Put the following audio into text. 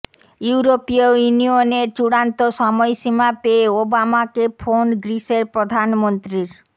ইউরোপীয় ইউনিয়নের চূড়ান্ত সময়সীমা পেয়ে ওবামাকে ফোন গ্রিসের প্রধানমন্ত্রীর